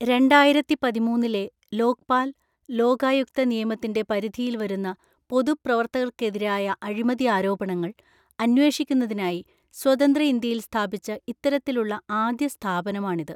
രണ്ടായിരത്തിപതിമൂന്നിലെ ലോക്പാല്‍, ലോകായുക്ത നിയമത്തിന്റെ പരിധിയില്‍ വരുന്ന പൊതു പ്രവര്ത്തകര്‍ക്കെതിരായ അഴിമതിആരോപണങ്ങള്‍ അന്വേഷിക്കുന്നതിനായി സ്വതന്ത്ര ഇന്ത്യയില്‍ സ്ഥാപിച്ച ഇത്തരത്തിലുള്ള ആദ്യസ്ഥാപനമാണിത്.